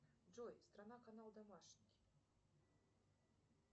джой страна канал домашний